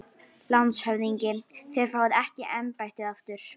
LANDSHÖFÐINGI: Þér fáið ekki embættið aftur